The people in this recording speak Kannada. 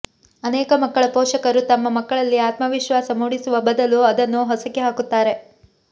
ಅನೇಕ ಮಕ್ಕಳ ಪೋಷಕರು ತಮ್ಮ ಮಕ್ಕಳಲ್ಲಿ ಆತ್ಮವಿಶ್ವಾಸ ಮೂಡಿಸುವ ಬದಲು ಅದನ್ನು ಹೊಸಕಿ ಹಾಕುತ್ತಾರೆ